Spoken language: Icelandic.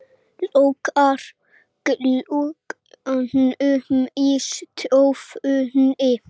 Lokar glugganum í stofunni.